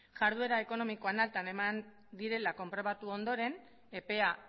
jarduera ekonomikoan alta eman direla konprobatu ondoren epea